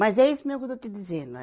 Mas é isso mesmo que eu estou te dizendo.